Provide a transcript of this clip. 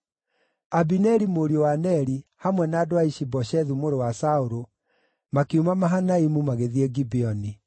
Abineri mũriũ wa Neri, hamwe na andũ a Ishi-Boshethu mũrũ wa Saũlũ, makiuma Mahanaimu magĩthiĩ Gibeoni.